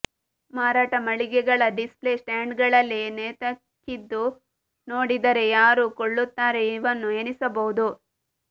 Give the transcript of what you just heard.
ಮಾರಾಟ ಮಳಿಗೆಗಳ ಡಿಸ್ಪ್ಲೇ ಸ್ಟ್ಯಾಂಡ್ಗಳಲ್ಲಿ ನೇತಾಕಿದ್ದು ನೋಡಿದರೆ ಯಾರು ಕೊಳ್ಳುತ್ತಾರೆ ಇವನ್ನು ಎನಿಸಬಹುದು